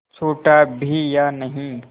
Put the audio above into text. छूटा भी या नहीं